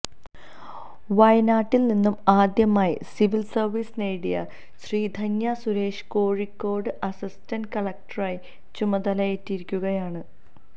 വയനാട്ടിൽ നിന്ന് ആദ്യമായി സിവിൽ സർവീസ് നേടിയ ശ്രീധന്യ സുരേഷ് കോഴിക്കോട് അസിസ്റ്റൻ്റ് കളക്ടറായി ചുമതലയേറ്റിരിക്കുകയാണ്